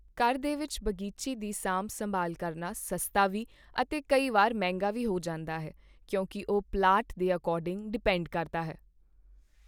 ਘਰ ਦੇ ਵਿੱਚ ਬਗੀਚੀ ਦੀ ਸਾਂਭ ਸੰਭਾਲ ਕਰਨਾ ਸਸਤਾ ਵੀ ਅਤੇ ਕਈ ਵਾਰ ਮਹਿੰਗਾ ਵੀ ਹੋ ਜਾਂਦਾ ਹੈ ਕਿਉਂਕਿ ਉਹ ਪਲਾਂਟ ਦੇ ਅਕੋਰਡਿੰਗ ਡਿਪੇਂਡ ਕਰਦਾ ਹੈ